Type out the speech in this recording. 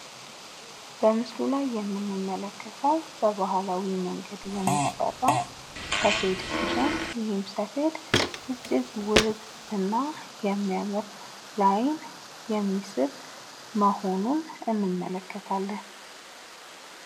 በምስሉ ላይ የምንመለከተው በባህላዊ መንገድ የሚሰራ ሰፌድ ሲሆን ይህም ሰፌድ እጅግ ውብና የሚያምር ለአይን የሚስብ መሆኑን እንመለከታለን።